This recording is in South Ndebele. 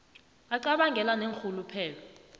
vi acabangele neenrhuluphelo